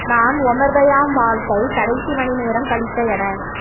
நான் Omar Khayyam வாழ்க்கை கடைசி மணி நேரம் கழித்த என